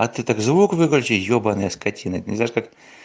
а ты так звук выключи ёбаная скотина не знаешь как